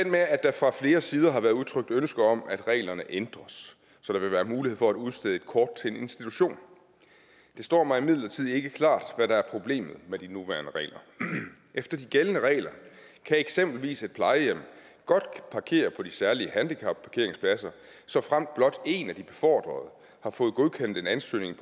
med at der fra flere sider har været udtrykt ønske om at reglerne ændres så der vil være mulighed for at udstede kort til en institution det står mig imidlertid ikke klart hvad der er problemet med de nuværende regler efter de gældende regler kan eksempelvis et plejehjem godt parkere på de særlige handicapparkeringspladser såfremt blot en af de befordrede har fået godkendt en ansøgning